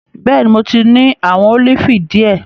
Bẹẹni, Mo ni awọn olifi diẹ.